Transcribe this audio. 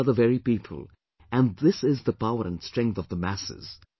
These are the very people... and this is the power and strength of the masses